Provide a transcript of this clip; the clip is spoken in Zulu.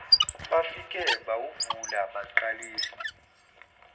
bafike bawuvula baqalisa